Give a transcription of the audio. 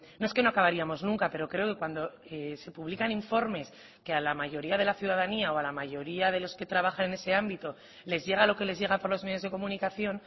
no es que no acabaríamos nunca pero creo que cuando se publican informes que a la mayoría de la ciudadanía o a la mayoría de los que trabajan en ese ámbito les llega lo que les llega por los medios de comunicación